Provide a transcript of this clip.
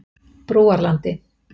Brúarlandi